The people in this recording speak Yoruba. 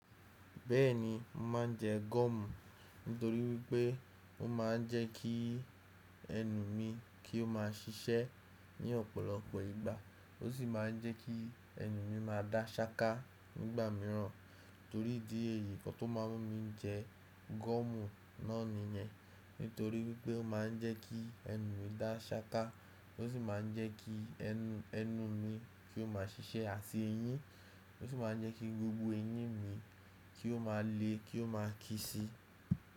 Bẹ́ẹ̀ni, mo máà ń jẹ gọ́ọ̀mù nítorí wípé ó máa ń jẹ́ kí ẹnu mi kí ó ma ṣiṣẹ́ ní ọ̀pọ̀lọpọ̀ ìgbà ó sì máa ń jẹ́ kí ẹnu mi máa dá ṣáká nígbà míràn torí idi èyí, nǹkan tó máa ń mú mi jẹ gọ́ọ̀mù náà nìyẹn. Nítorí wípé ó máa ń jẹ́ kí ẹnu mi dá ṣáká ó sì máa ń jẹ́ kí enu ẹnu mi kí ó máa ṣiṣẹ́ àti eyín, ó sì máa ń jẹ́ kí gbogbo eyín mi kí ó máa le kí ó máa kí sí.